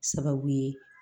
Sababu ye